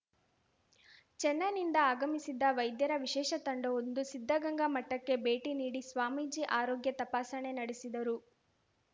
ಚೆನ್ನೈನಿಂದ ಆಗಮಿಸಿದ್ದ ವೈದ್ಯರ ವಿಶೇಷ ತಂಡವೊಂದು ಸಿದ್ಧಗಂಗಾ ಮಠಕ್ಕೆ ಭೇಟಿ ನೀಡಿ ಸ್ವಾಮೀಜಿ ಆರೋಗ್ಯ ತಪಾಸಣೆ ನಡೆಸಿದರು